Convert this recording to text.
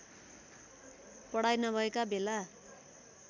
पढाइ नभएका बेला